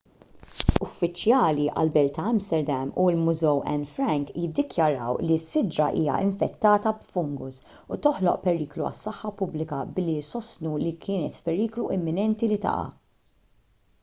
uffiċjali għall-belt ta' amsterdam u l-mużew anne frank jiddikjaraw li s-siġra hija infettata b'fungus u toħloq periklu għas-saħħa pubblika billi jsostnu li kienet f'periklu imminenti li taqa'